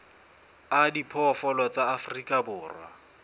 a diphoofolo tsa afrika borwa